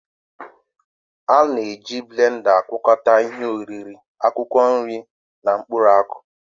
A na-eji blenda agwakọta ihe oriri, akwụkwọ nri na mkpụrụ akụ